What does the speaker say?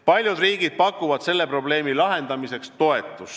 Paljud riigid pakuvad selle probleemi lahendamiseks toetust.